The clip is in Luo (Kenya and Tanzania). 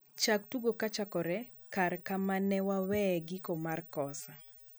chak tugo kochakore kare kamane waweye giko mar kosa